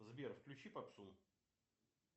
сбер включи попсу